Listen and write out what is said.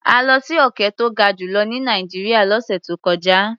A lọ sí òkè tó ga jù lọ ní Nàìjíríà lọ́sẹ̀ tó kọjá.